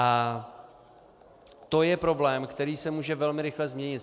A to je problém, který se může velmi rychle změnit.